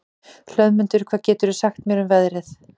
Hlöðmundur, hvað geturðu sagt mér um veðrið?